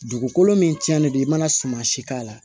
Dugukolo min tiɲɛnen don i mana suman si k'a la